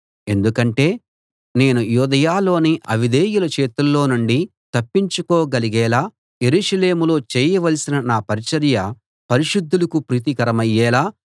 ఎందుకంటే నేను యూదయలోని అవిధేయుల చేతుల్లో నుండి తప్పించుకోగలిగేలా యెరూషలేములో చేయవలసిన నా పరిచర్య పరిశుద్ధులకు ప్రీతికరమయ్యేలా